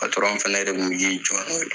fɛnɛ de kun mi k'i jɔ n'o ye.